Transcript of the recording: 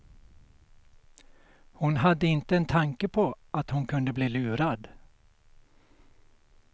Hon hade inte en tanke på att hon kunde bli lurad.